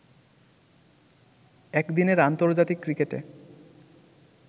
একদিনের আন্তর্জাতিক ক্রিকেটে